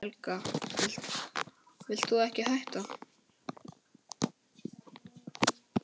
Helga: Vilt þú ekki hætta?